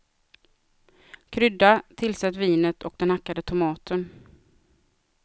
Krydda, tillsätt vinet och den hackade tomaten.